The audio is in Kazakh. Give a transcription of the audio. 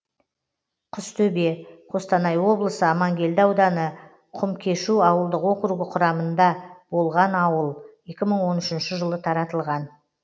құстөбе қостанай облысы амангелді ауданы құмкешу ауылдық округі құрамында болған ауыл екі мың он үшінші жылы таратылған